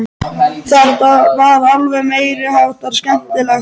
Þetta var alveg meiri háttar skemmtilegt!